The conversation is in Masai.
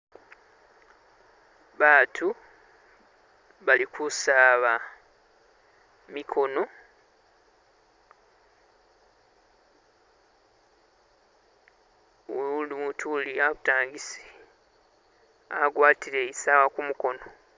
Abantu balikusaaba jimikono, umuntu uli abutangisi agwatile isawa kumukono